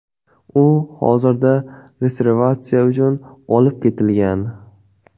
U hozirda restavratsiya uchun olib ketilgan.